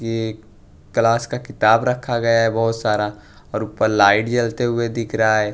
एक क्लास का किताब रक्खा गया है बहुत सारा और ऊप्पर लाइट जलते हुए दिख रहा है।